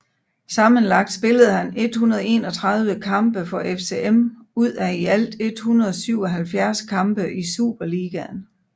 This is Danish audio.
Sammenlagt spillede han 131 kampe for FCM ud af i alt 177 kampe i Superligaen